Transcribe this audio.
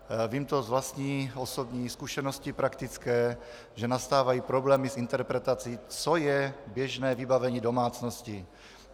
Vím to z vlastní osobní zkušenosti praktické, že nastávají problémy s interpretací, co je běžné vybavení domácnosti.